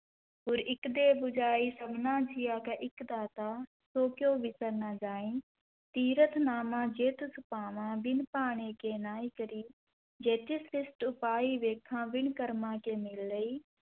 ਗੁਰ ਇਕ ਦੇਹਿ ਬੁਝਾਈ, ਸਭਨਾ ਜੀਆ ਕਾ ਇਕੁ ਦਾਤਾ ਸੋ ਕਿਉਂ ਵਿਸਰਿ ਨਾ ਜਾਈ, ਤੀਰਥਿ ਨਾਵਾ ਜੇ ਤਿਸੁ ਭਾਵਾ ਵਿਣੁ ਭਾਣੇ ਕਿ ਨਾਇ ਕਰੀ, ਜੇਤੀ ਉਪਾਈ ਵੇਖਾ ਵਿਣੁ ਕਰਮਾ ਕਿ ਮਿਲੈ ਲਈ,